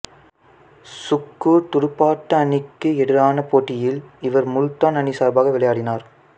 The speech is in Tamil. சுக்குர் துடுப்பாட்ட அணிக்கு எதிரான போட்டியில் இவர் முல்தான் அணி சார்பாக விளையாடினார்